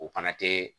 O fana tɛ